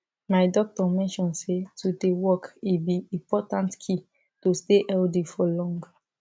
my doctor mention say to dey walk e be important key to stay healthy for long